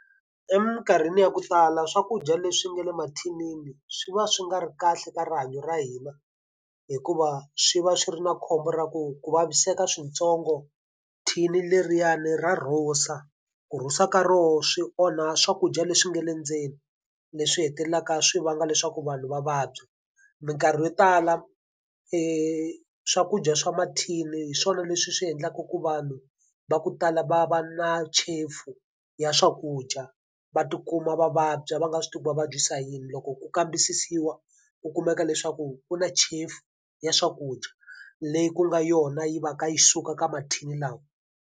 Eminkarhini ya ku sala swakudya leswi nga le mathinini swi va swi nga ri kahle ka rihanyo ra hina, hikuva swi va swi ri na khombo ra ku ku vaviseka swintsongo thini leriyani ra rhusa. Ku rhusa ka rona swi onha swakudya leswi nga le ndzeni, leswi hetelelaka swi vanga leswaku vanhu va vabya. Minkarhi yo tala swakudya swa mathini hi swona leswi swi endlaka ku vanhu va ku tala va va na chefu ya swakudya, va tikuma va vabya va nga swi tivi va vabyisa yini. Loko ku kambisisiwa ku kumeka leswaku ku na chefu ya swakudya leyi ku nga yona yi va ka yi suka ka mathini lawa.